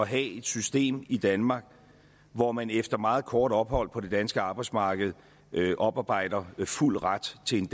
have et system i danmark hvor man efter meget kort ophold på det danske arbejdsmarked oparbejder fuld ret til en